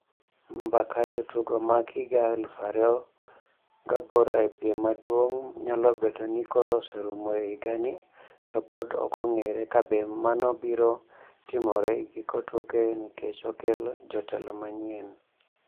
Mbak jotugo mag higa alufu ariyo gaboro e piem maduong' nyalo bedo ni koro oserumo e higani to pod ok ong'ere kabe mano biro timore e giko tuke nikech okel jotelo manyien.